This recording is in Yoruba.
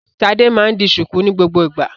Ṣadé máa ń di ṣùkú ní gbogbo ìgbà.